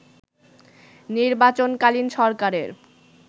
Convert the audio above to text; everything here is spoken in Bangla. নির্বাচনকালীন সরকারের